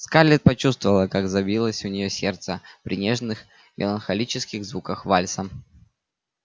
скарлетт почувствовала как забилось у неё сердце при нежных меланхолических звуках вальса